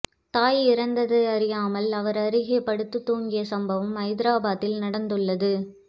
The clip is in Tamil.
தாய் இறந்தது அறியாமல் அவர் அருகே படுத்து தூங்கிய சம்பவம் ஐதராபாத்தில் நடந்துள்ளது